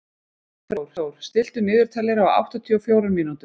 Freyþór, stilltu niðurteljara á áttatíu og fjórar mínútur.